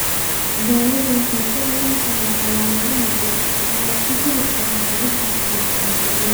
Daawadu waxay ku xidhan tahay calaamadaha jira waxaana ku jiri kara habab caafimaad ama qaliin.